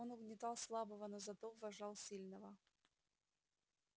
он угнетал слабого но зато уважал сильного